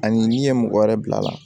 Ani n'i ye mɔgɔ wɛrɛ bil'a la